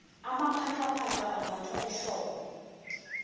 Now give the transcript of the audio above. amaphacaphaca ambathwa ehlobo